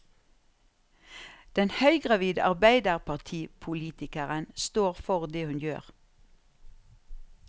Den høygravide arbeiderpartipolitikeren står for det hun gjør.